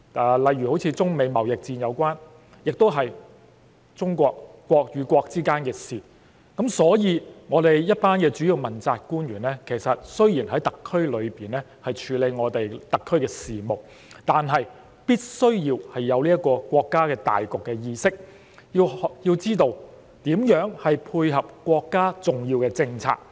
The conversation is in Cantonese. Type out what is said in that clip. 又例如中美貿易戰，是國與國之間的事情，我們一群主要問責官員雖然是在特區內處理特區的事務，但必須要有國家大局的意識，要知道如何配合國家的重要政策。